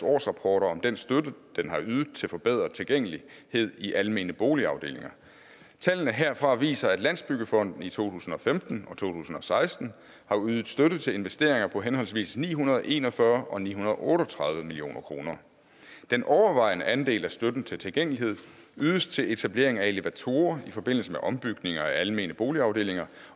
årsrapporter om den støtte den har ydet til forbedret tilgængelighed i almene boligafdelinger tallene herfra viser at landsbyggefonden i to tusind og femten og to tusind og seksten har ydet støtte til investeringer på henholdsvis ni hundrede og en og fyrre million og ni hundrede og otte og tredive million kroner den overvejende andel af støtten til tilgængelighed ydes til etablering af elevatorer i forbindelse med ombygning af almene boligafdelinger